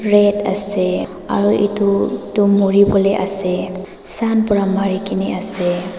red ase aru edu tu muriwolae ase sun pra marikaena ase.